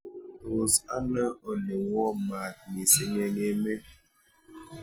Tos' ano ole woo maat misiing' eng' emet